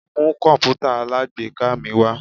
Mu kọǹpútà alágbèéká mi wá!